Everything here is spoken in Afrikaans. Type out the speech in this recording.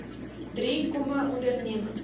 drie kmme ondernemings